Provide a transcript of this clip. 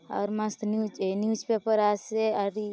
और मस्त न्यूज ये चे न्यूज पेपर आसे अरी --